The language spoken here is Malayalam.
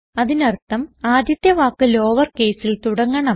അതിനർത്ഥം ആദ്യത്തെ വാക്ക് ലോവർ caseൽ തുടങ്ങണം